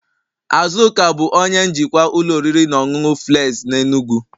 Azuka bụ onye njikwa ụlọ oriri na ọṅụṅụ filesi na enugu